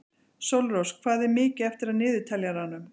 Sólrós, hvað er mikið eftir af niðurteljaranum?